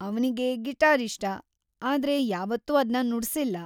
ಅವ್ನಿಗೆ ಗಿಟಾರ್ ಇಷ್ಟ, ಆದ್ರೆ ಯಾವತ್ತೂ ಅದ್ನ ನುಡ್ಸಿಲ್ಲ.